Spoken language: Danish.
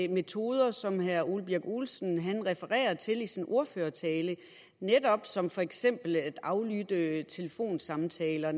metoder som herre ole birk olesen refererer til i sin ordførertale som for eksempel netop at aflytte telefonsamtaler